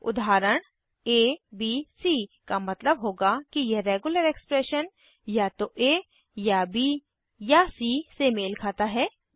उदाहरण abc का मतलब होगा कि यह रेग्युलर एक्सप्रेशन या तो आ या ब या सी से मेल खाता है